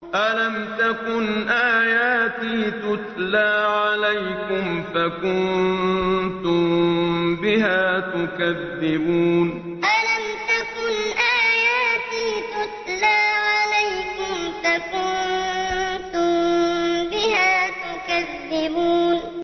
أَلَمْ تَكُنْ آيَاتِي تُتْلَىٰ عَلَيْكُمْ فَكُنتُم بِهَا تُكَذِّبُونَ أَلَمْ تَكُنْ آيَاتِي تُتْلَىٰ عَلَيْكُمْ فَكُنتُم بِهَا تُكَذِّبُونَ